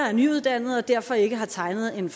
er nyuddannede og derfor ikke har tegnet en